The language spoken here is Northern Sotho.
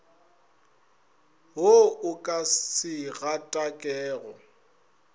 wo o ka se gatakego